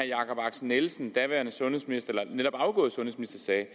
jacob axel nielsen den daværende sundhedsminister sagde